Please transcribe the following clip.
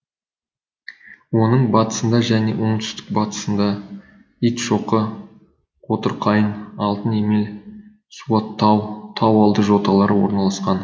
оның батысында және оңтүстік батысында итшоқы қотырқайың алтынемел суаттау тау алды жоталары орналасқан